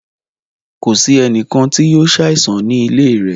Kò sì ènìkàn tí yóò ṣàìsàn ní ilẹ̀ rẹ̀.